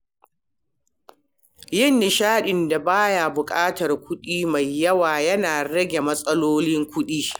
Yin nishaɗin da ba ya buƙatar kuɗi mai yawa yana rage matsalolin kuɗi.